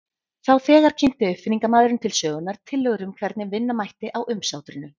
Þá þegar kynnti uppfinningamaðurinn til sögunnar tillögur um hvernig vinna mætti á umsátrinu.